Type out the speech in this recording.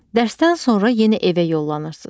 Dərsdən sonra yenə evə yollanırsız.